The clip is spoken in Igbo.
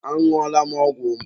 Añụọla m ọgwụ m.